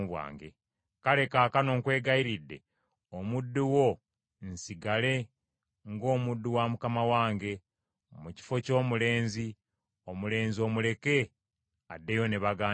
“Kale kaakano nkwegayirira, omuddu wo nsigale ng’omuddu wa mukama wange, mu kifo ky’omulenzi; omulenzi omuleke addeyo ne baganda be.